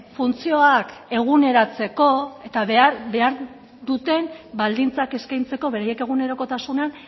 funtzioak eguneratzeko eta behar duten baldintzak eskaintzeko beraien egunerokotasunean